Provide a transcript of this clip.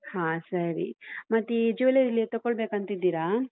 ಹಾ ಸರಿ ಮತ್ತೆ ಈ jewellery ಎಲ್ಲಿ ತಗೊಳ್ಬೇಕಂತ ಇದ್ದೀರಾ?